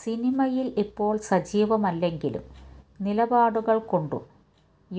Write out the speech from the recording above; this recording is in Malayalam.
സിനിമയില് ഇപ്പോള് സജീവമല്ലെങ്കിലും നിലപാടുകള് കൊണ്ടും